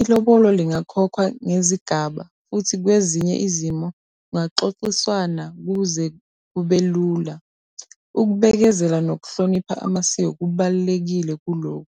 Ilobolo lingakhokhwa ngezigaba futhi kwezinye izimo kungaxoxiswana ukuze kube lula. Ukubekezela nokuhlonipha amasiko kubalulekile kulokhu.